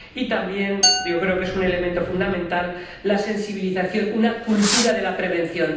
Y, también ―yo creo que es un elemento fundamental― la sensibilización, una cultura de la prevención.